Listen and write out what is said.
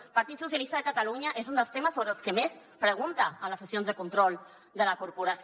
el partit socialista de catalunya és un dels temes sobre els que més pregunta en les sessions de control de la corporació